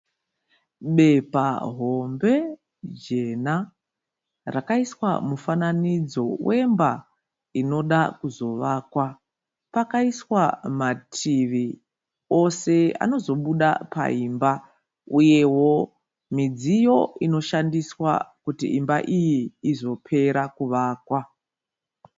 Bepa hombe jena rakaiswa mufananidzo wemba inoda kuzovakwa pakaiswa mativi ose anozo buda paimba uyewo midziyo inoshandiswa kuti imba iyi izopera kuvakwa.